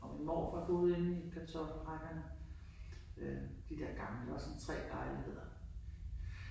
Og min morfar boede inde i Kartoffelrækkerne. Øh de der gamle der var sådan tre lejligheder